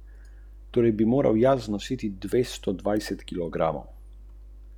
Za zdaj gradivo novinarjem tudi ni dostopno.